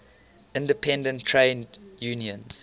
independent trade unions